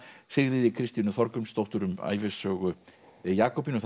Sigríði Kristínu Þorgrímsdóttur um ævisögu Jakobínu